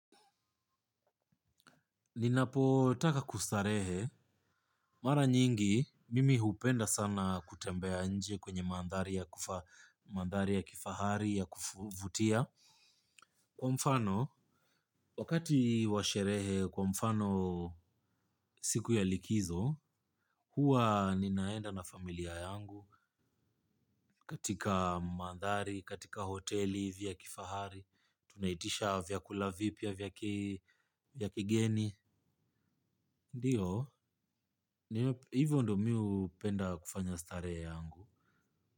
Ninapo taka kustarehe. Mara nyingi, mimi hupenda sana kutembea nje kwenye mandhari ya kifahari ya kuvutia. Kwa mfano, wakati wa sherehe kwa mfano siku ya likizo, huwa ninaenda na familia yangu katika mandhari, katika hoteli vya kifahari. Tunaitisha vyakula vipya vya kigeni. Ndiyo hivo ndo mi hupenda kufanya starehe yangu.